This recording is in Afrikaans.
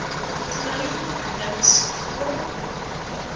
kleyn links voor